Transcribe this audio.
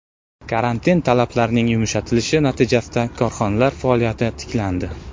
Karantin talablarining yumshatilishi natijasida korxonalar faoliyati tiklandi.